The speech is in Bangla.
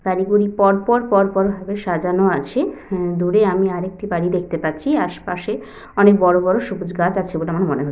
গাড়িগুলি পরপর পরপর ভাবে সাজানো আছে উম দূরে আমি আর একটি গাড়ি দেখতে পাচ্ছি আশপাশে অনেক বড়বড় সবুজ গাছ আছে বলে আমার মনে হ --